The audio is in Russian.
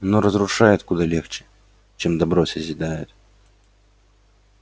но разрушает куда легче чем добро созидает